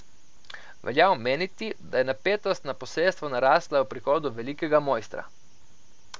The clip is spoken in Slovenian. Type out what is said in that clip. Velja omeniti, da je napetost na posestvu narasla ob prihodu velikega mojstra.